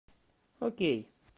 окей